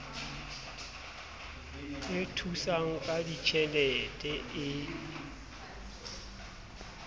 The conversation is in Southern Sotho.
e thusang ka ditjhelete e